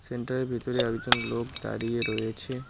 সেন্টারের ভিতরে একজন লোক দাঁড়িয়ে রয়েছে।